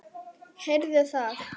Heyrðu það!